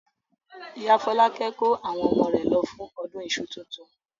Ìyá Fọlákẹ́ kó àwọn ọmọ rẹ̀ lọ fún ọdún iṣu tuntun.